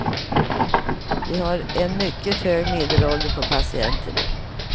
Vi har haft en mycket hög medelålder på patienterna.